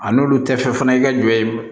A n'olu tɛ fɛ fana i ka jɔ ye